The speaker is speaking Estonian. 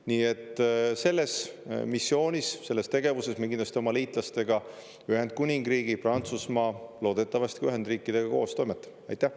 Nii et selles missioonis, selles tegevuses me kindlasti oma liitlastega, Ühendkuningriigi, Prantsusmaa, loodetavasti ka Ühendriikidega, koos toimetame.